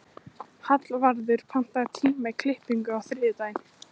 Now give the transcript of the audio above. Hallvarður, pantaðu tíma í klippingu á þriðjudaginn.